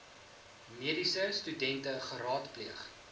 mediese studente geraadpleeg